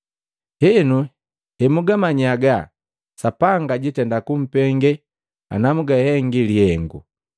Henu, hemugamanyi haga, Sapanga jiitenda kumpenge ana mugahengi lihengu.